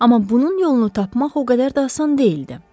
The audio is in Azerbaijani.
Amma bunun yolunu tapmaq o qədər də asan deyildi.